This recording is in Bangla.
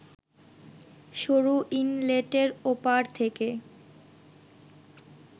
সরু ইনলেটের ওপার থেকে